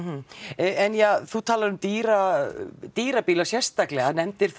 en ja þú talar um dýra dýra bíla sérstaklega nefndir þá